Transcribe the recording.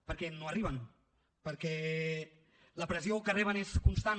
perquè no arriben perquè la pressió que reben és constant